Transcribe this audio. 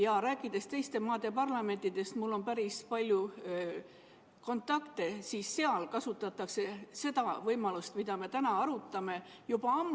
Ja kui rääkida teiste maade parlamentidest – mul on päris palju kontakte –, siis seal kasutatakse seda võimalust, mida me täna arutame, juba ammu.